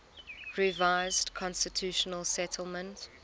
revised constitutional settlement